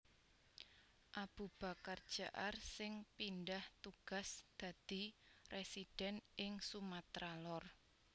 Abubakar Jaar sing pindah tugas dadi residen ing Sumatra Lor